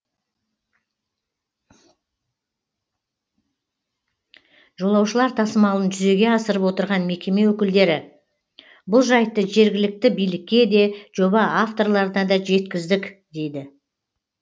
жолаушылар тасымалын жүзеге асырып отырған мекеме өкілдері бұл жайтты жергілікті билікке де жоба авторларына да жеткіздік дейді